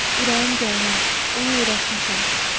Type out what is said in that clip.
Ürəyim gəlməz, onu öyrəşmişəm.